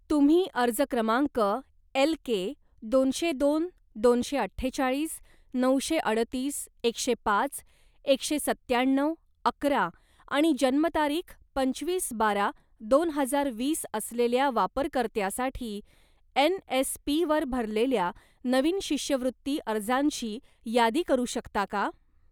तुम्ही अर्ज क्रमांक एलके दोनशे दोन दोनशे अठ्ठेचाळीस नऊशे अडतीस एकशे पाच एकशे सत्त्याण्णव अकरा आणि जन्मतारीख पंचवीस बारा दोन हजार वीस असलेल्या वापरकर्त्यासाठी एन.एस.पी. वर भरलेल्या नवीन शिष्यवृत्ती अर्जांची यादी करू शकता का?